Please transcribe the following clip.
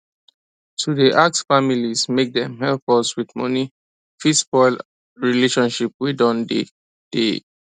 to dey ask families make dem help us with money fit spoil relationship wey don dey tey